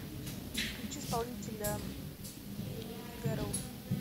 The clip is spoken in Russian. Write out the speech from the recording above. включи исполнителя гэроу